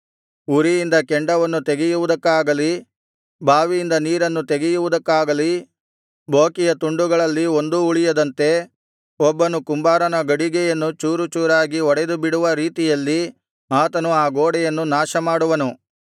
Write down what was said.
ಉರಿಯಿಂದ ಕೆಂಡವನ್ನು ತೆಗೆಯುವುದಕ್ಕಾಗಲಿ ಬಾವಿಯಿಂದ ನೀರನ್ನು ತೆಗೆಯುವುದಕ್ಕಾಗಲಿ ಬೋಕಿಯ ತುಂಡುಗಳಲ್ಲಿ ಒಂದೂ ಉಳಿಯದಂತೆ ಒಬ್ಬನು ಕುಂಬಾರನ ಗಡಿಗೆಯನ್ನು ಚೂರುಚೂರಾಗಿ ಒಡೆದು ಬಿಡುವ ರೀತಿಯಲ್ಲಿ ಆತನು ಆ ಗೋಡೆಯನ್ನು ನಾಶಮಾಡುವನು